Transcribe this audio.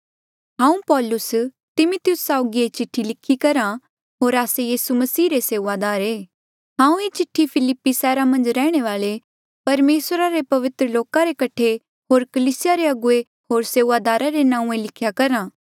हांऊँ पौलुस तिमिथियुस साउगी ये चिठ्ठी लिखी करहा होर आस्से यीसू मसीह रे सेऊआदार ऐें हांऊँ ये चिठ्ठी फिलिप्पी सैहरा मन्झ रैहणे वाले परमेसरा रे पवित्र लोका रे कठे होर कलीसिया रे अगुवे होर सेऊआदारा रे नांऊँ लिख्या करहा